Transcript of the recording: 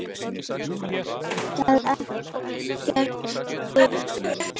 Það er ekkert bull.